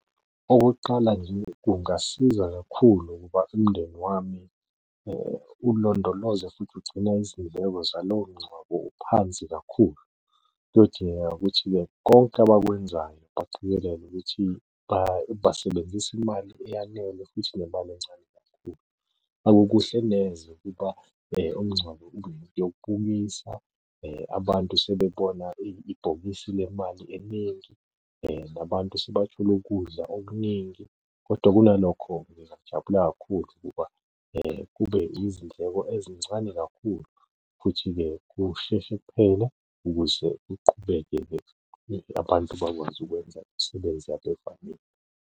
Okokuqala nje, kungasiza kakhulu ukuba umndeni wami ulondoloze futhi ugcine izindleko zalowo mngcwabo uphansi kakhulu. Kuyodingeka ukuthi-ke konke abakwenzayo baqikelele ukuthi basebenzisa imali eyanele futhi nemali encane kakhulu. Akukuhle neze ukuba umngcwabo ube yinto yokubukisa. Abantu sebebona ibhokisi lemali eningi, nabantu sebafuna ukudla okuningi, kodwa kunalokho ngingajabula kakhulu ukuba kube izindleko ezincane kakhulu futhi-ke kusheshe kuphele ukuze kuqhubeke-ke abantu bakwazi ukwenza imisebenzi yabo .